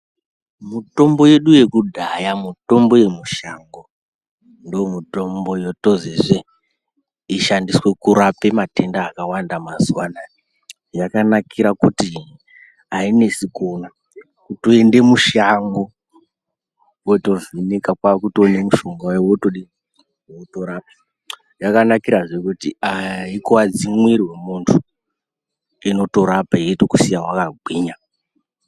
Mutombo yedu yekudhaya mutombo yemushango ndomutombo yotozeze kuti ishandiswe kurape matenda akawanda mazuwa anaya , yakanakira kuti ainesu kuona, kutoende mushango wotovhunika kwaakutoone mushonga uya wotodini ,wotorapa ,yakanakirazve kuti aikuwadzi mwiri wemunhu inotorapa yotokusiya wakagwinya.